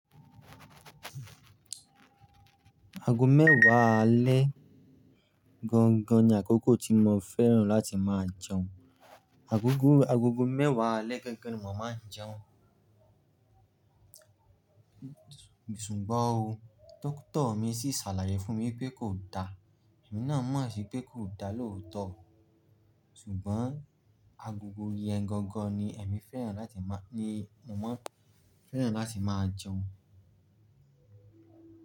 Ago mẹ́wàá alẹ́ gangan ni àkókò tí mo fẹ́ràn láti máa jẹun. Agogo, agogo mẹ́wàá alẹ́ gangan ni mo máa ń jẹun. Ṣùgbọ́n o, dóctor mi sì sàlàyé fún mi pé kò da. Èmi náà mọ̀ sií pé kò da lóòótọ́. Ṣùgbọ́n agogo yẹn gangan ni ẹ̀mi fẹ́ràn láti máa, ni mo mọ́ n fẹ́ràn láti máa jẹun.